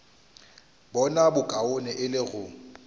bona bokaone e le go